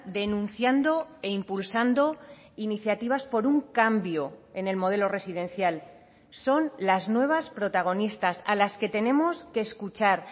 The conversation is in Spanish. denunciando e impulsando iniciativas por un cambio en el modelo residencial son las nuevas protagonistas a las que tenemos que escuchar